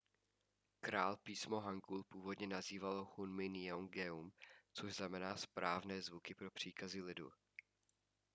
král písmo hangul původně nazýval hunmin jeongeum což znamená správné zvuky pro příkazy lidu